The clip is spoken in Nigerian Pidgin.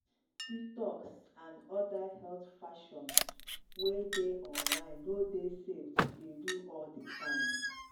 detox and other health fashion wey dey online no dey safe to dey do all the time.